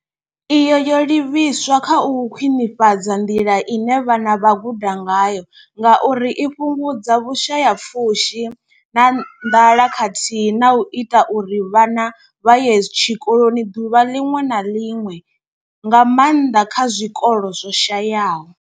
Iyi yo livhiswa kha u khwinifhadza nḓila ine vhana vha guda ngayo ngauri i fhungudza vhushayapfushi na nḓala khathihi na u ita uri vhana vha ye tshikoloni ḓuvha ḽiṅwe na ḽiṅwe, nga maanḓa kha zwikolo zwo shayaho.